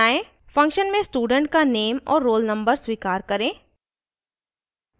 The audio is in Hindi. * function में student का नेम और roll नंबर स्वीकार करें